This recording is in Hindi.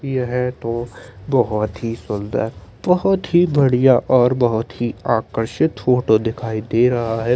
ये है पोस बहुत ही सुन्दर बोहोत ही बढ़िया आकर्षित फोटो दिखाई दे रहा है ।